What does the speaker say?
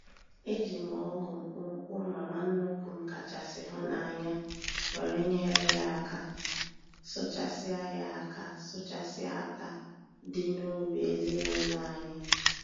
E ji m ọ́gụ̀ mkpụmkpụ mama nnukwu m kachasị hụ n'anya were nyere ya aka sụchasịa ya aka sụchasịa átá dị n'ubi ezinụlọ anyị.